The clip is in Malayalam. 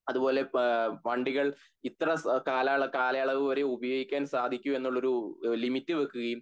അതുപോലെ പേ.. വണ്ടികൾ ഇത്ര കാലള കാലയളവ് വരെ ഉപയോഗിക്കാൻ സാധിക്കയുള്ളൊന്ന് ഒരു ലിമിറ് വെക്കയും